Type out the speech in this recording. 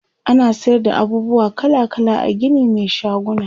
ana sayar da abubuwa kala kala a Gini Mai shaguna